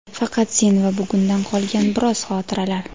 Faqat sen va bugundan qolgan biroz xotiralar.